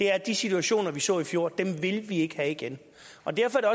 er at de situationer vi så i fjor vil vi ikke have igen derfor er